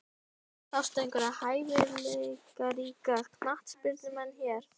Sástu einhverja hæfileikaríka knattspyrnumenn hér?